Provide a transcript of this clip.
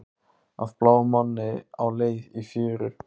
Af bláum manni á leið í fjöru